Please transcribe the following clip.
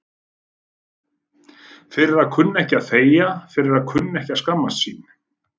Fyrir að kunna ekki að þegja, fyrir að kunna ekki að skammast sín.